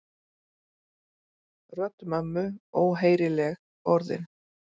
Rödd mömmu, óheyrileg orðin.